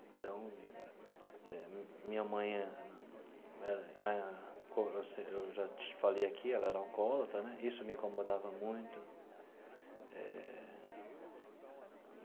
Então, minha mãe, eu já te falei aqui, ela era alcoólatra né, isso me incomodava muito eh.